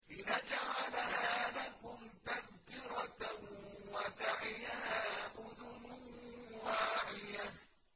لِنَجْعَلَهَا لَكُمْ تَذْكِرَةً وَتَعِيَهَا أُذُنٌ وَاعِيَةٌ